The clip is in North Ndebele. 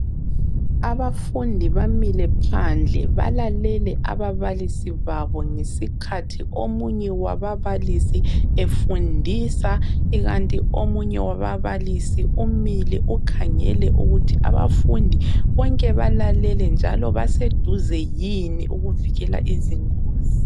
Abafundi bamile phandle balalele ababalisi babo ngesikhathi omunye wababalisi efundisa ikanti omunye wababalisi umile ukhangele ukuthi abafundi bonke balalele njalo baseduze yini ukuvikela izingozi.